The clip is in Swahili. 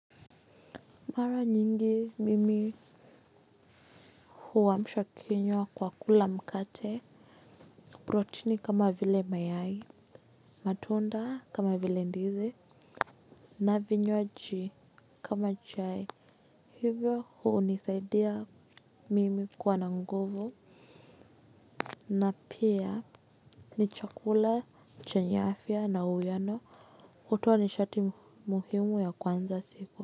Mara nyingi mimi huwamsha kinywa kwa kula mkate, protini kama vile mayai, matunda kama vile ndizi, na vinywaji kama chai. Hivyo hunisaidia mimi kuwa na nguvu na pia ni chakula chenye afya na uwiano hutoa nishati muhimu ya kuanza siku.